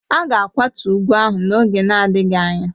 A ga-akwatu ugwu ahụ n'oge na-adịghị anya.